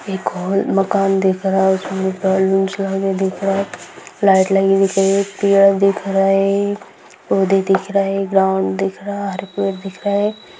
एक हॉल मकान दिख रहा है उसमें बैलून्स लगे दिख रहे हैं लाइट लगी दिख रही है पेड़ दिख रहा है पौधे दिख रहे है ग्राउंड दिख रहा है हरे पेड़ दिख रहे है।